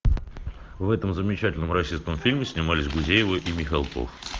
в этом замечательном российском фильме снимались гузеева и михалков